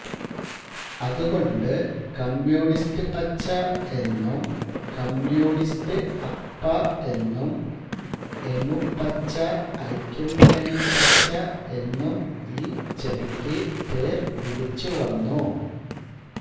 അതുകൊണ്ടു് communist പച്ച എന്നും communist അപ്പ എന്നും ഐമുപ്പച്ച ഐക്യമുന്നണിപ്പച്ച എന്നും ഈ ചെടിക്കു് പേർ വിളിച്ചുവന്നു